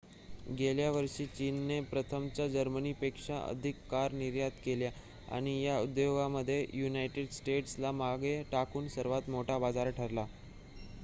गेल्या वर्षी चीनने प्रथमच जर्मनी पेक्षा अधिक कार निर्यात केल्या आणि या उद्योगामध्ये युनायटेड स्टेट्स ला मागे टाकून सर्वात मोठा बाजार ठरला